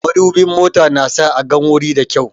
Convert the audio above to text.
Madubin mota na sa a gan wuri da kyau